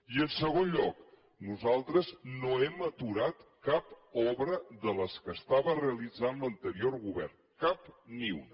i en segon lloc nosaltres no hem aturat cap obra de les que estava realitzant l’anterior govern cap ni una